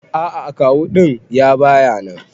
A'a akawu din ya baya nan.